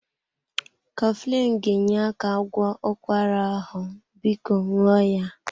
Coflin ga-enye aka gwọọ ụkwara ahụ, biko ṅụọ ya.